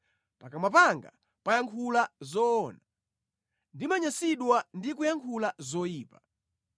Pakamwa panga pamayankhula zoona ndimanyansidwa ndi kuyankhula zoyipa.